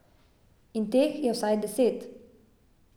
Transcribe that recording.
In teh je vsaj deset.